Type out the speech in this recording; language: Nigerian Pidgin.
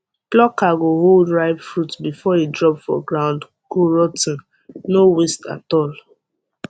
plucker go hold ripe fruit before e drop for ground go rot ten no waste at all